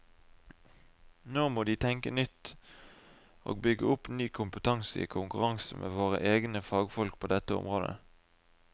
Nå må de tenke nytt og bygge opp ny kompetanse i konkurranse med våre egne fagfolk på dette området.